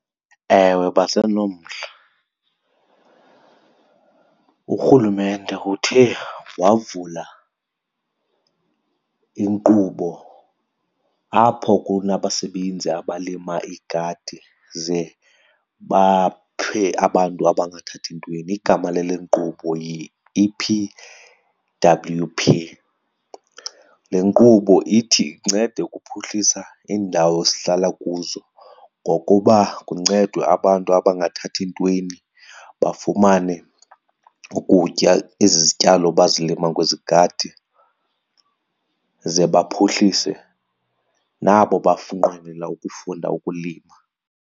Ewe, basenomdla. Urhulumente uthe wavula inkqubo apho kunabasebenzi abalima igadi ze baphe abantu abangathathi ntweni. Igama lale nkqubo yi-E_P_W_P. Le nkqubo ithi incede ukuphuhlisa iindawo esihlala kuzo ngokuba kuncedwe abantu abangathathi ntweni bafumane ukutya, ezi zityalo bazilima kwezi gadi ze baphuhlise nabo nqwenela ukufunda ukulima.